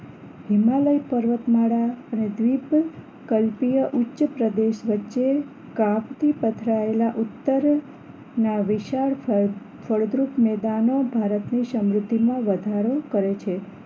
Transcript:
હિમાલય પર્વતમાળા દ્વીપકલ્પીય ઉચ્ચપ્રદેશ વચ્ચે ક્રાફ્ટ થી પથરાયેલા ઉત્તરના વિશાળ ફળ ફળદ્રુપ મેદાનો ભારતની સમૃદ્ધિમાં વધારો કરે છે